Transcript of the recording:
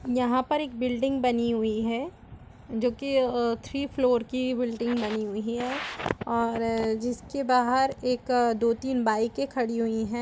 यहाँ पर एक बिल्डिंग बनी हुई है जो की थ्रीफ्लोर की बिल्डिंग बनी हुई है और जिसके बाहर एक दो तीन बाइके खड़ी हुई है।